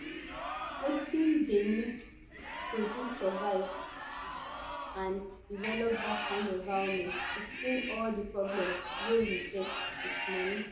wetin dey need do to survive and develop dat kind environment explain all di problems wey we get wit moni